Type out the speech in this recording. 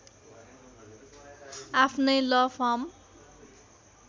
आफ्नै ल फर्म